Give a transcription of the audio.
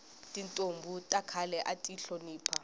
tintombhi ta khale ati hlonipha